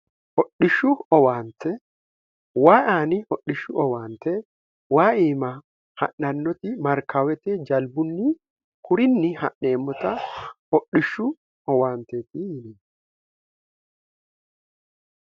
hodhishshu owaante wa aani hodhishshu owaante waaiima ha'nannoti markaawete jalbunni kurinni ha'neemmota hodhishshu owaanteeti yini